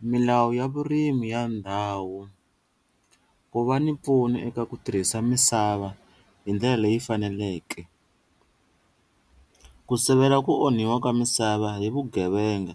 Milawu ya vurimi ya ndhawu ku va ni pfuna eka ku tirhisa misava hi ndlela leyi faneleke ku sivela ku onhiwa ka misava hi vugevenga